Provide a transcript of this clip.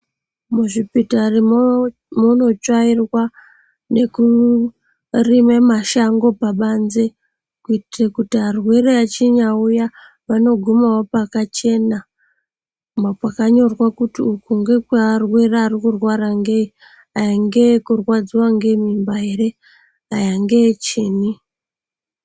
Muzvipatara munotsvairwa nekurime mashango pabanze kuitire kuti kana arwere achinge awuya vanogumawo pakachena ,kwakanyorwa kuti uku ngekwe arwere arikurwara ngeyi, aya ndeekurwadziwa ngemimba here ,aya ngeechini.